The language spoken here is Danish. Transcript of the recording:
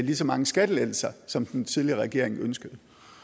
lige så mange skattelettelser som den tidligere regering ønskede